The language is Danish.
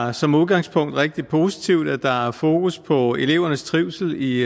er som udgangspunkt rigtig positivt at der er fokus på elevernes trivsel i